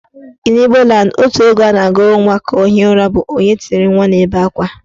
In Igbo land, otu egwu a ga-agụrụ nwa ka o hie ụra bụ " Onye tiri nwa na-ebe akwa"